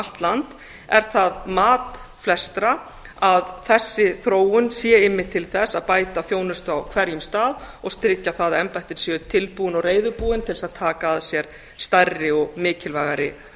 allt land er það mat flestra að þessi þróun sé einmitt til þess að bæta þjónustu á hverjum stað og tryggja það að embættin séu tilbúin og reiðubúin til þess að taka að sér stærri og mikilvægari